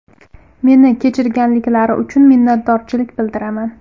Meni kechirganliklari uchun minnatdorlik bildiraman.